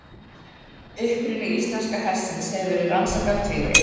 Uppruni íslenska hestsins hefur verið rannsakaður tvívegis.